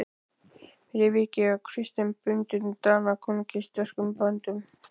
Fyrir vikið var Christian bundinn Danakonungi sterkum böndum.